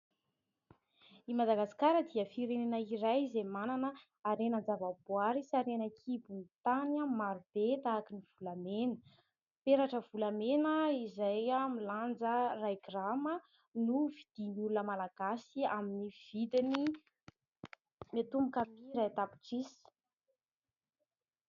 I Madagasikara dia firenena iray izay manana harenan-javaboahary sy harena an-kibon'ny tany marobe tahakan'ny volamena. Peratra volamena izay milanja iray grama no vidian'ny olona malagasy amin'ny vidiny miatomboka amin'ny iray tapitrisa.